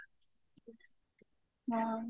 ହଁ